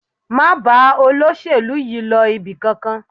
Má bá olóṣèlú yìí lọ ibì kankan